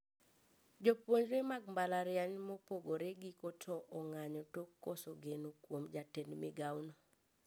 Jopuonjre mag mbalariany mopogore giko to ong`anyo tok koso geno kuom jatend migao no